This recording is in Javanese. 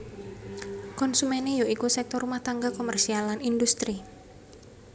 Konsumené ya iku sektor rumah tangga komersial lan industri